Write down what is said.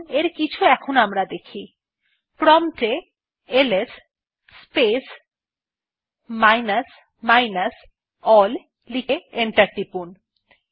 চলুন এর কিছু আমরা দেখি প্রম্পট এ LS space minus minus ALL লিখে এন্টার টিপুন